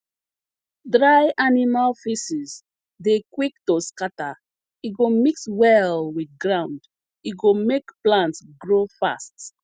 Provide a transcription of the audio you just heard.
dry animal feces dey quick to scatter e go mix well with ground e go make plant grow fast